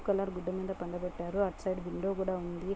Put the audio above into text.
Blue colour గుడ్డ మీద పండ పెట్టారు. అటు సైడు విండో కూడా ఉంది.